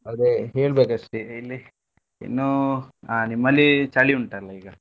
ಅದೇ ಹೇಳ್ಬೇಕಷ್ಟೆ ಇಲ್ಲಿ ಇನ್ನೂ ಹಾ ನಿಮ್ಮಲ್ಲಿ ಚಳಿ ಉಂಟಾಲ್ಲ ಈಗ.